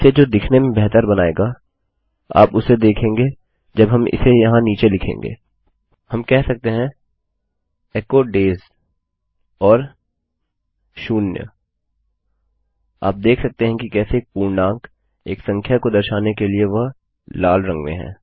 इसे जो दिखने में बेहतर बनाएगा आप उसे देखेंगे जब हम इसे यहाँ नीचे लिखेंगे हम कह सकते हैं एचो डेज और ज़ेरो आप देख सकते हैं कि कैसे एक पूर्णांक एक संख्या को दर्शाने के लिए वह लाल रंग में है